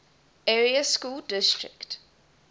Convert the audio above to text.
area school district